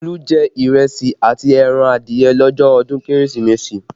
Olu jẹ ìrẹsì àti ẹran adìẹ lọ́jọ́ ọdún Kérésìmesì